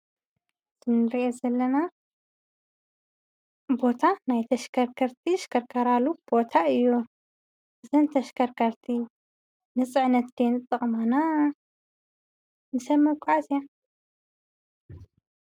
እንሪኦ ዘለና ቦታ ናይ ተሽከርከርቲ ዝሽከርክራሉ ቦታ እዩ፡፡ እዘን ተሽከርከርቲ ንፅዕነት ድዮም ዝጠቅሙና ንሰብ መጓዓዝያ?